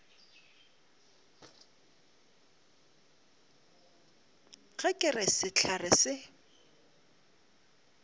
ga ke re sehlare se